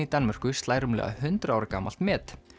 Danmörku slær rúmlega hundrað ára gamalt met